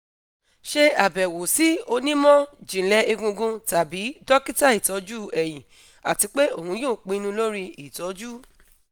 ṣe abẹwo si onimọ-jinlẹ egungun tabi dokita itọju ẹhin ati pe oun yoo pinnu lori itọju